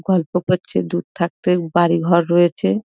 গল্প করছে দূর থাকতে বাড়ি ঘর রয়েছে ।